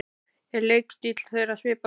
Er leikstíll þeirra svipaður?